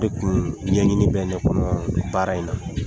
O tun ɲɛɲini bɛ ne kɔnɔ baara in na